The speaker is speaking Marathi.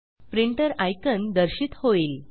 प्रिंटर आयकॉन दर्शित होईल